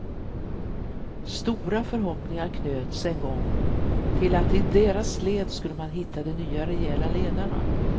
Stora förhoppningar knöts en gång till att i deras led skulle man hitta de nya rejäla ledarna.